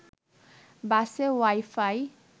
বাসে ওয়াই-ফাই